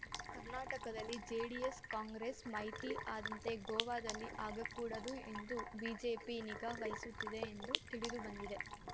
ಕರ್ನಾಟಕದಲ್ಲಿ ಜೆಡಿಎಸ್‌ಕಾಂಗ್ರೆಸ್‌ ಮೈತ್ರಿ ಆದಂತೆ ಗೋವಾದಲ್ಲಿ ಆಗಕೂಡದು ಎಂದು ಬಿಜೆಪಿ ನಿಗಾ ವಹಿಸುತ್ತಿದೆ ಎಂದು ತಿಳಿದುಬಂದಿದೆ